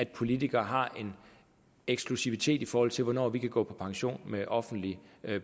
politikere har en eksklusivitet i forhold til hvornår vi kan gå på pension med offentlig